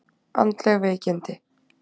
Andleg veikindi!